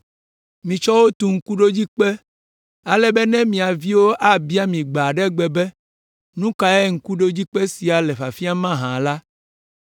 Mitsɔ wo tu ŋkuɖodzikpe ale be ne mia viwo abia mi gbe aɖe gbe be, ‘Nu kae ŋkuɖodzikpe sia le fiafiam mahã?’ la,